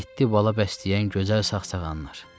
Yeddi bala bəsləyən gözəl sağsağanlar.